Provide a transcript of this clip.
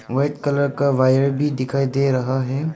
White colour का wire भी दिखाई दे रहा है।